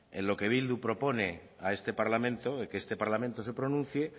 en lo que bildu propone a este parlamento y que este parlamento se pronuncie